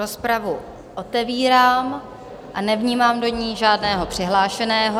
Rozpravu otevírám a nevnímám do ní žádného přihlášeného.